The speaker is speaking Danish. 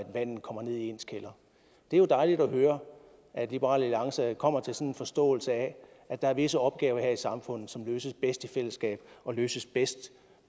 vandet kommer ned i ens kælder det er jo dejligt at høre at liberal alliance kommer til sådan en forståelse af at der er visse opgaver her i samfundet som løses bedst i fællesskab og løses bedst